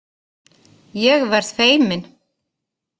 Ég verð feimin.